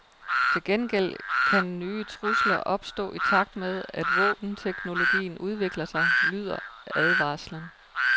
Til gengæld kan nye trusler opstå i takt med, at våbenteknologien udvikler sig, lyder advarslen.